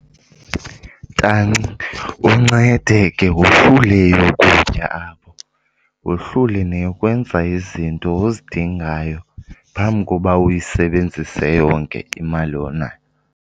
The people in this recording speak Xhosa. Tanci, uncede ke wohlule eyokutya apho, wohlule neyokwenza izinto ozidingayo phambi koba uyisebenzise yonke imali onayo.